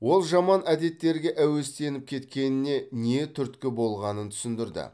ол жаман әдеттерге әуестеніп кеткеніне не түрткі болғанын түсіндірді